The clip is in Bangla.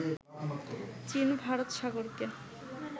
চীন ভারত সাগরকে